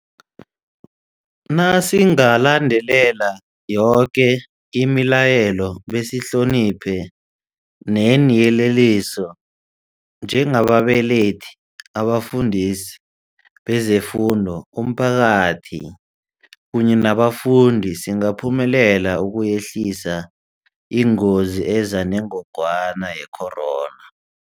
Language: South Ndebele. Nasingalandela yoke imila yelo besihloniphe neeyeleliso, njengababelethi, abafundisi bezefundo, umphakathi kunye nabafundi, singaphumelela ukuyehlisa ingozi eza nengogwana ye-corona.